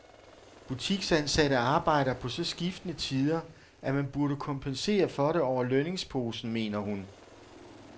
Butiksansatte arbejder på så skiftende tider, at man burde kompensere for det over lønningsposen, mener hun.